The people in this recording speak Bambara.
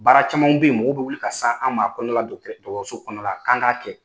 Baara camanw bɛ yen mɔgow bɛ wuli ka san an ma akɔnɔna la dɔgɔtɔrɔso kɔnɔ la kan k'a kɛ